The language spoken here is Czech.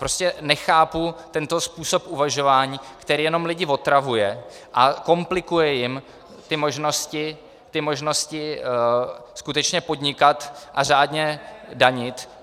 Prostě nechápu tento způsob uvažování, který jenom lidi otravuje a komplikuje jim ty možnosti skutečně podnikat a řádně danit.